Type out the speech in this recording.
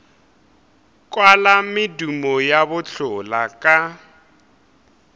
kwala medumo ya bohlola ka